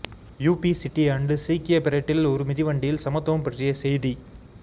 UB City ஆண்டு சீக்கிய பரேட்டில் ஒரு மிதிவண்டியில் சமத்துவம் பற்றிய செய்தி